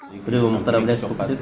біреуі мұхтар әблязов болып кетеді